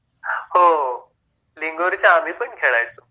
हो हो, लिंगोरच्या आम्ही पण खेळायचो